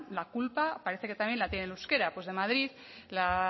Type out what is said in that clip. la culpa parece que también la tiene el euskera pues de madrid la